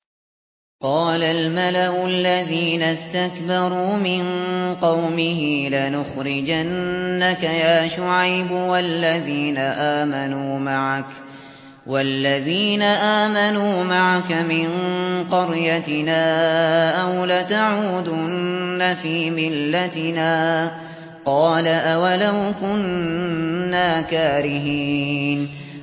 ۞ قَالَ الْمَلَأُ الَّذِينَ اسْتَكْبَرُوا مِن قَوْمِهِ لَنُخْرِجَنَّكَ يَا شُعَيْبُ وَالَّذِينَ آمَنُوا مَعَكَ مِن قَرْيَتِنَا أَوْ لَتَعُودُنَّ فِي مِلَّتِنَا ۚ قَالَ أَوَلَوْ كُنَّا كَارِهِينَ